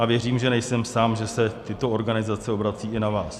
A věřím, že nejsem sám, že se tyto organizace obracejí i na vás.